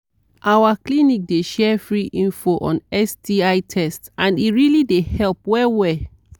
our clinic dey share free info on sti test and e really dey help well well